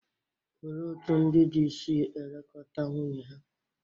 Olee otú ndị di si elekọta nwunye ha?